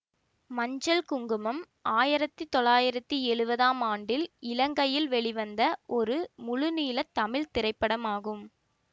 மஞ்சள் குங்குமம் ஆயிரத்தி தொள்ளாயிரத்தி எழுவதாம் ஆண்டில் இலங்கையில் வெளிவந்த ஒரு முழுநீள தமிழ் திரைப்படமாகும்